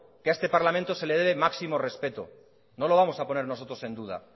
que a este parlamento se le debe máximo respeto no lo vamos a poner nosotros en duda